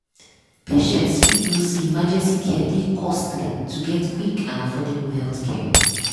patients fit know say emergency care dey costly to get quick and affordable healthcare.